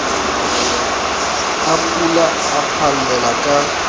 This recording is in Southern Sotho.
a pula a phallella ka